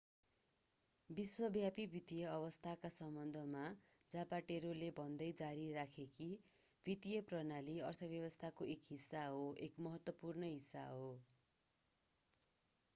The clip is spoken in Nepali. विश्वव्यापी वित्तीय अवस्थाका सम्बन्धमा जापाटेरोले भन्दै जारी राखे कि वित्तीय प्रणाली अर्थव्यवस्थाको एक हिस्सा हो एक महत्त्वपूर्ण हिस्सा हो